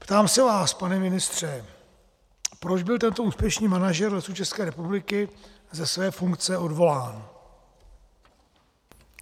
Ptám se vás, pane ministře, proč byl tento úspěšný manažer Lesů České republiky ze své funkce odvolán.